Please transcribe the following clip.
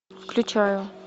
включаю